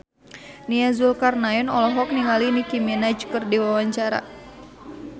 Nia Zulkarnaen olohok ningali Nicky Minaj keur diwawancara